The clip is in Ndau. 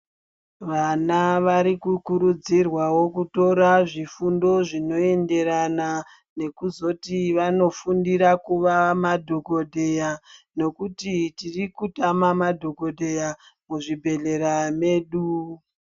Vana vari kukurudzirwawo kutora zvifundo zvinoenderana nekuzoti vazondofundira kuva madokoteya ngokuti tiri kutama madokoteya muzvibhedhlera medu.